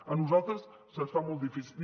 a nosaltres se’ns fa molt difícil